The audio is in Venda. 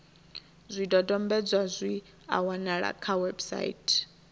zwidodombedzwa zwi a wanalea kha website